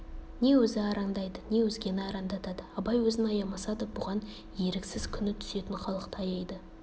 не өзі арандайды не өзгені арандатады абай өзін аямаса да бұған еріксіз күні түсетін халықты аяйды